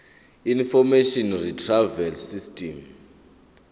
information retrieval system